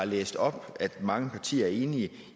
læste op og mange partier er enige